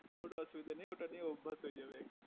ওটা অসুবিধা নেই ওটা নিয়ে অভ্যাস হয়ে যাবে